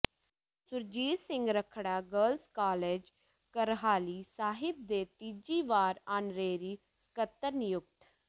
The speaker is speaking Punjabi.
ਸੁਰਜੀਤ ਸਿੰਘ ਰੱਖੜਾ ਗਰਲਜ਼ ਕਾਲਜ ਕਰਹਾਲੀ ਸਾਹਿਬ ਦੇ ਤੀਜੀ ਵਾਰ ਆਨਰੇਰੀ ਸਕੱਤਰ ਨਿਯੁਕਤ